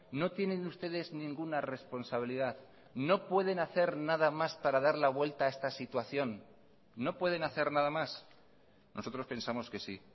no tienen ustedes ninguna responsabilidad no pueden hacer nada más para dar la vuelta a esta situación no pueden hacer nada más nosotros pensamos que sí